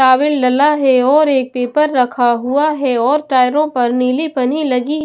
है और एक पेपर रखा हुआ है और टायरों पर नीली पनी लगी है।